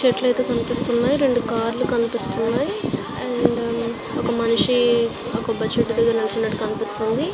చెట్లు అయితే కనిపిస్తున్నాయి రెండు కార్ లు కనిపిస్తున్నాయి. అండ్ ఒక మనిషి ఆ కొబ్బరి చెట్టు దగ్గర నించుని ఉన్నట్టు కనిపిస్తోంది.